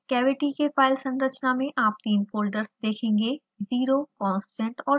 cavity के file संरचना में आप तीन फ़ोल्डर्स देखेंगे: 0 constant और system